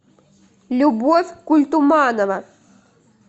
любовь культуманова